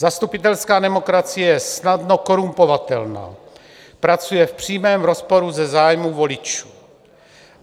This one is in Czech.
Zastupitelská demokracie je snadno korumpovatelná, pracuje v přímém rozporu se zájmy voličů.